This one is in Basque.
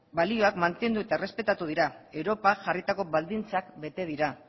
balioak mantendu eta errespetatu dira europak jarritako baldintzak bete dira